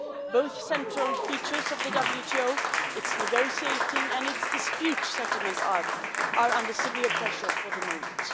Both central features of the WTO its negotiating and its dispute settlement, are under severe pressure for the moment.